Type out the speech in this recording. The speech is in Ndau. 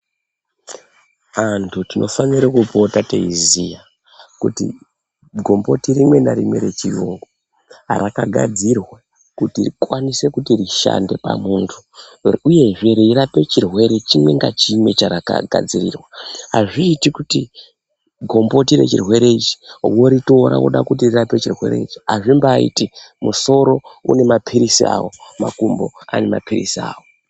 Antu tinofanire kupota teiziya kuti gumboti rimwe narimwe rechirungu rakagadzirwa kuti rikwanise kuti rishande pamuntu uyezve reirape chirwere chimwe ngachimwe charakagadzirirwa, azviiti kuti gumboti rechirwere ichi woritora woda kuti rirape chirwere ichi azvimbaiti. Musoro une mapiritsi awo , makumbo ane mapiritsi awo.